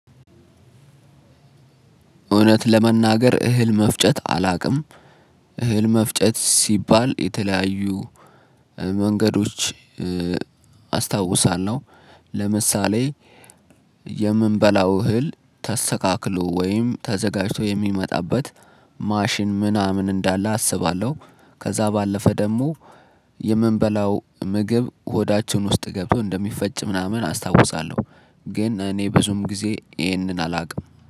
እውነት ለመናገር እህል መፍጨት አላቅም። እህል መፍጨት ሲባል የተለያዩ መንገዶች አስታውሳለሁ። ለምሳሌ የምንበላው እህል ተስተካክሎ ወይም ተዘጋጅቶ የሚመጣበት ማሽን ምናምን እንዳለ አስባለሁ። ከዛ ባለፈ ደግሞ የምንበላው ምግብ ሆዳችን ውስጥ ገብቶ እንደሚፈጭ ምናምን አስታውሳለሁ። ግን እኔ ብዙም ጊዜ ይህንን አላቅም